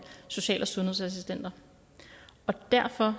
social og sundhedsassistenter derfor